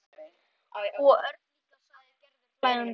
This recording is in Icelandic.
Og Örn líka sagði Gerður hlæjandi.